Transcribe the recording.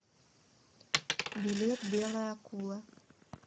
билет белая акула